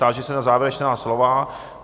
Táži se na závěrečná slova.